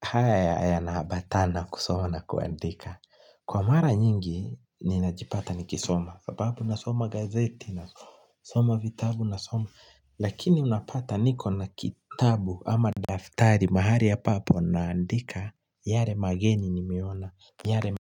Haya yanaambatana kusoma na kuandika kwa mara nyingi ninajipata nikisoma hapohapo nasoma gazeti nasoma vitabu nasoma lakini unapata niko na kitabu ama daftari mahali ambapo naandika yale mageni nimeona yale mageni